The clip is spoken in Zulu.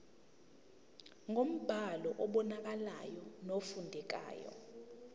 ngombhalo obonakalayo nofundekayo